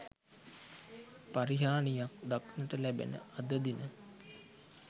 පරිහානියක් දක්නට ලැබෙන අද දින